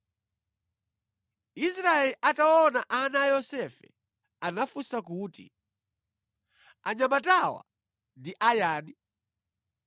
Israeli ataona ana a Yosefe anafunsa kuti, “Anyamatawa ndi a yani?”